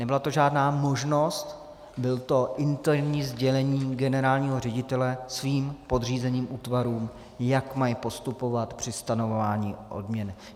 Nebyla to žádná možnost, bylo to interní sdělení generálního ředitele jeho podřízeným útvarům, jak mají postupovat při stanovování odměny.